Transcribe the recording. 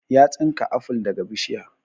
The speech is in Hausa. Ya tsinka aful daga bishiya